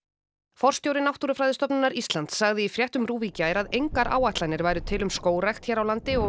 forstjóri Náttúrufræðistofnunar Íslands sagði í fréttum RÚV í gær að engar áætlanir væru til um skógrækt hér á landi og